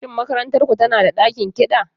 Shin makarantar ku tana da ɗakin kiɗa?